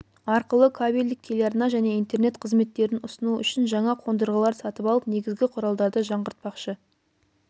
арқылы кабельдік телеарна және интернет қызметтерін ұсыну үшін жаңа қондырғылар сатып алып негізгі құралдарды жаңғыртпақшы